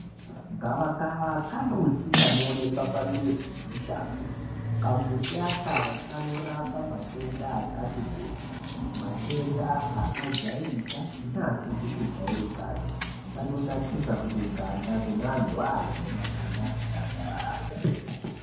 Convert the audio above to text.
Gavakava kambuti kanoonekwa pamizi nemushango. Kambuti aka kanorapa matenda akati kuti, matenda akajairika neasizi kujairikapi. Kanonakisa futi ganda kune antu aya ane makanda akakwasharara.